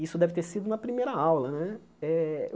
Isso deve ter sido na primeira aula né. Eh